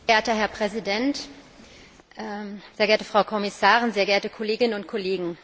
Herr Präsident, sehr geehrte Frau Kommissarin, sehr geehrte Kolleginnen und Kollegen!